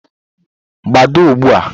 Gbadaa ugbu a!